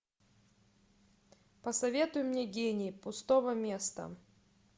посоветуй мне гений пустого места